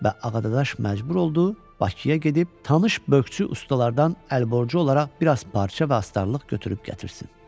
Və Ağadadaş məcbur oldu Bakıya gedib tanış bökçü ustalardan əlborcu olaraq biraz parça və astarlıq götürüb gətirsin.